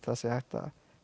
það sé hægt að